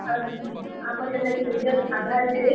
ଆଉ, ଆମର୍ ଜେନ୍ତା କି Aadhaar xerox ।